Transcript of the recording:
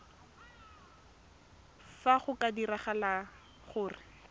fa go ka diragala gore